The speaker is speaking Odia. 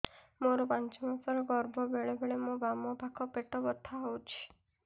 ମୋର ପାଞ୍ଚ ମାସ ର ଗର୍ଭ ବେଳେ ବେଳେ ମୋ ବାମ ପାଖ ପେଟ ବଥା ହଉଛି